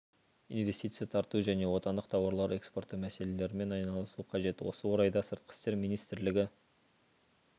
инвестиция тарту және отандық тауарлар экспорты мәселелерімен айналысу қажет осы орайда сыртқы істер министрлігі